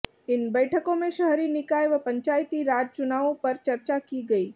इन बैठकों में शहरी निकाय व पंचायती राज चुनावों पर चर्चा की गई